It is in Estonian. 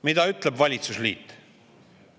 Mida ütleb valitsusliit?